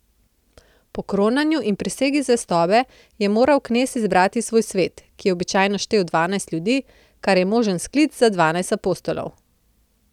Po kronanju in prisegi zvestobe je moral knez izbrati svoj svet, ki je običajno štel dvanajst ljudi, kar je možen sklic na dvanajst apostolov.